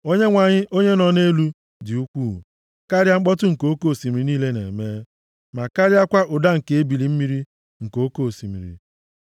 Onyenwe anyị onye nọ nʼelu, dị ukwuu karịa mkpọtụ nke oke osimiri niile na-eme, ma karịakwa ụda nke ebili mmiri nke oke osimiri.